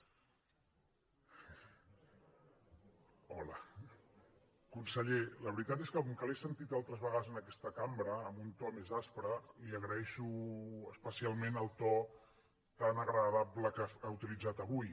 conseller la veritat és que com que l’he sentit altres vegades en aquesta cambra amb un to més aspre li agraeixo especialment el to tan agradable que ha utilitzat avui